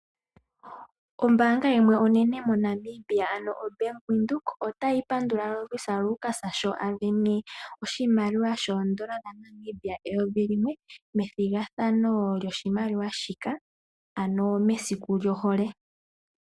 Ombaanga yimwe onene MoNamibia ano o Bank Windhoek, otayi pandula Lovisa Lukas, sho a sindana oshimaliwa shoondola dhaNamibia eyovi limwe, methigathano lyoshimaliwa shika, mesiku lyohole.